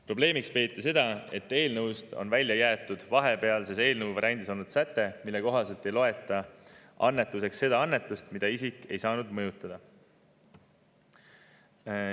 Probleemiks peeti seda, et eelnõust on välja jäetud eelnõu vahepealses variandis olnud säte, mille kohaselt ei loeta annetuseks seda annetust, mida isik ei saanud mõjutada.